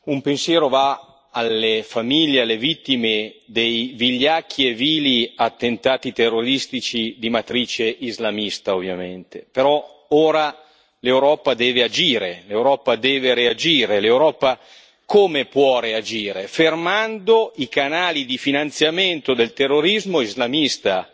Signora Presidente, onorevoli colleghi, un pensiero va alle famiglie e alle vittime dei vigliacchi e vili attentati terroristici di matrice islamista, ovviamente. Però ora l'Europa deve agire, l'Europa deve reagire. L'Europa come può reagire? Fermando i canali di finanziamento del terrorismo islamista,